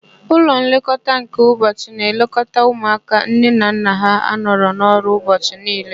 Ụlọ nlekọta nke ụbọchị na-elekọta ụmụaka nne na nna ha na-anọ n'ọrụ ụbọchị niile.